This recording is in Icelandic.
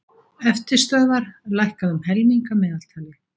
Eftirstöðvar lækkað um helming að meðaltali